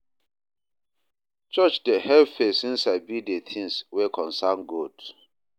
Church dey help pesin sabi de things wey concern God.